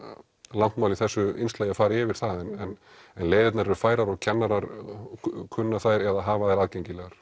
langt mál í þessu innslagi að fara yfir það en leiðirnar eru færar og kennarar kunna þær eða hafa þær aðgengilegar